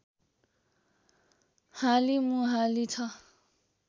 हालिमुहाली छ